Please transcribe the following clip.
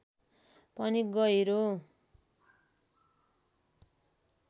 पनि गहिरो